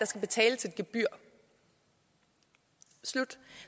skal betales et gebyr slut